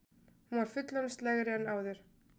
Hún var fullorðinslegri en áður.